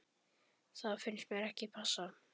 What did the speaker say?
Það finnst mér ekki passa.